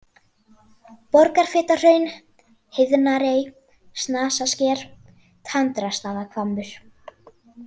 Borgarfitahraun, Heiðnarey, Snasasker, Tandrastaðahvammur